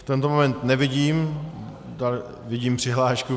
V tento moment nevidím... vidím přihlášku.